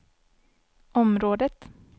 området